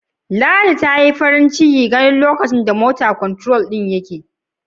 Ladi ta ce, ta yi farin ciki lokacin da take ganin yanda "motor control" din yake aiki.